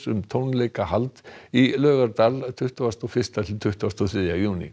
um tónleikahald í Laugardal tuttugasta og fyrsta til tuttugasta og þriðja júní